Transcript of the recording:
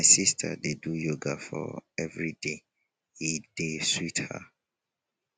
my sista dey do yoga for everyday e dey sweet her.